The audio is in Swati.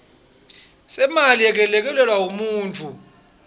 semali yekwelekelela umuntfu